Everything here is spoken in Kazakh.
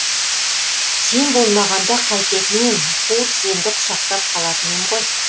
сен болмағанда қайтетін ем қу тіземді құшақтап қалатын ем ғой